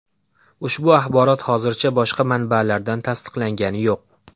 Ushbu axborot hozircha boshqa manbalardan tasdiqlangani yo‘q.